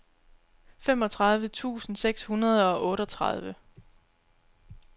femogtredive tusind seks hundrede og otteogtredive